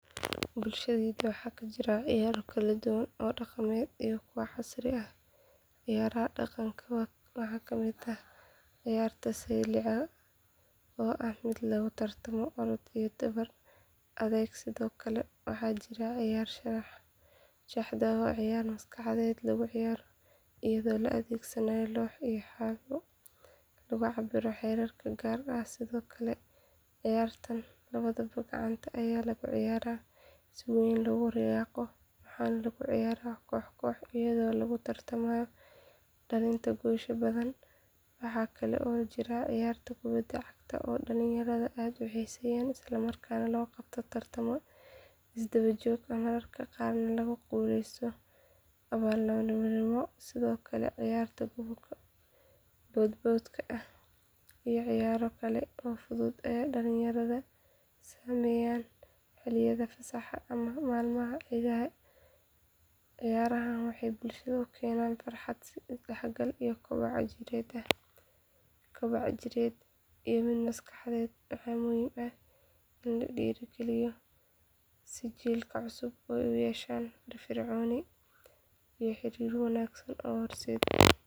Bulshadayda waxaa ka jira ciyaaro kala duwan oo dhaqameed iyo kuwa casri ah ciyaaraha dhaqanka waxaa ka mid ah ciyaarta sayliciga oo ah mid lagu tartamo orod iyo dhabar adeeg sidoo kale waxaa jira ciyaarta shaxda oo ah ciyaar maskaxeed lagu ciyaaro iyadoo la adeegsanayo loox iyo xabbado lagu cabbiro xeerar gaar ah sidoo kale ciyaarta kubbadda gacanta ayaa ah ciyaar si weyn loogu riyaaqo waxaana lagu ciyaaraa koox koox iyadoo lagu tartamo dhalinta goolasha badan waxaa kale oo jira ciyaarta kubbadda cagta oo dhalinyarada aad u xiiseeyaan isla markaana loo qabto tartamo isdaba joog ah mararka qaarna lagu guuleysto abaalmarino sidoo kale ciyaarta boodboodka iyo ciyaaro kale oo fudud ayaa dhallinyaradu sameeyaan xilliyada fasaxa ama maalmaha ciidaha ciyaarahan waxay bulshada u keenaan farxad isdhexgal iyo koboc jireed iyo mid maskaxeed waxaana muhiim ah in la dhiirrigeliyo si jiilka cusub ay u yeeshaan firfircooni iyo xiriir wanaagsan oo bulsheed.